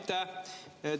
Aitäh!